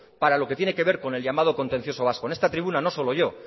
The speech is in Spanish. para lo que tiene que ver con el llamado contencioso vasco en esta tribuna no solo yo